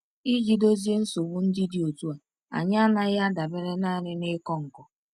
Iji dozie nsogbu ndị dị otu a, anyị anaghị adabere nanị n’ịkọ nkọ.